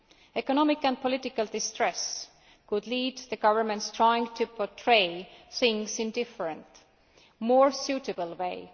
Economic and political distress could lead to governments trying to portray things in a different, more suitable way.